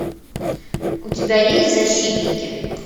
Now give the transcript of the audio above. у тебя есть защитники